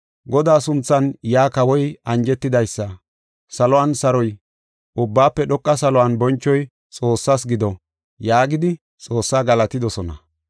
“Godaa sunthan yaa kawoy anjetidaysa saluwan saroy ubbaafe dhoqa saluwan bonchoy Xoossaas gido” yaagidi Xoossaa galatidosona.